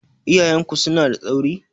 Iyayen ku suna da tsauri?